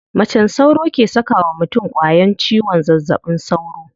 Macen sauro ke saka wa mutum ƙwayan ciwon zazzaɓin sauro.